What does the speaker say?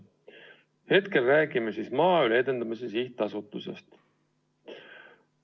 Hetkel räägime Maaelu Edendamise Sihtasutusest.